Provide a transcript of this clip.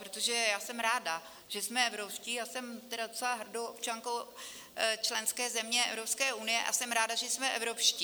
Protože já jsem ráda, že jsme evropští, a jsem tedy docela hrdou občankou členské země Evropské unie a jsem ráda, že jsme evropští.